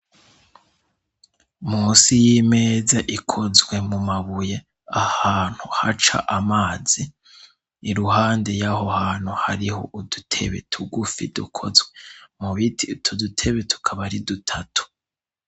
munsi y'imeza ikozwe mu mabuye ahantu haca amazi iruhande y'aho hantu hariho udutebe tugufi dukozwe mubiti utudutebe tukaba ari dutatu